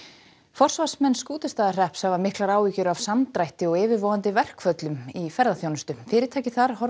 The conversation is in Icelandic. forsvarsmenn Skútustaðahrepps hafa miklar áhyggjur af samdrætti og yfirvofandi verkföllum í ferðaþjónustu fyrirtæki þar horfa